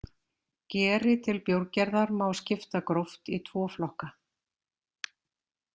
Geri til bjórgerðar má skipta gróft í tvo flokka.